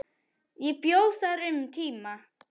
Ég bjó þar um tíma.